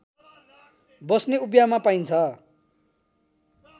बस्ने उपियाँमा पाइन्छ